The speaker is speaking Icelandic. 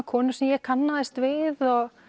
konur sem ég kannaðist við